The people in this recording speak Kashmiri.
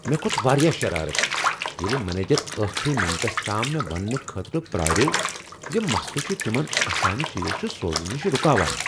مےٚ كھوت واریاہ شرارت ییلِہ منیجر ٲخری منٹس تام مےٚ وننہٕ خٲطرٕ پراریوو زِ مسلہٕ چھ تِمن اسامہِ چیز سوزنہٕ نش رکاوان ۔